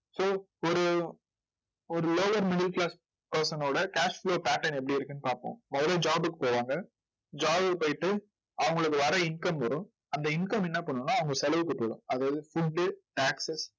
so ஒரு ஒரு lower middle class person னோட cash flow pattern எப்படி இருக்குன்னு பார்ப்போம். முதல்ல job க்கு போவாங்க. job க்கு போயிட்டு அவங்களுக்கு வர income வரும். அந்த income என்ன பண்ணும்னா அவங்க செலவுக்கு போயிடும். அதாவது food, tax